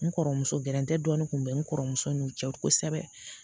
N kɔrɔmuso gɛrɛntɛ dɔnni kun be n kɔrɔmuso n'u cɛ kosɛbɛ